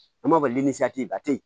An b'a fɔ ba te yen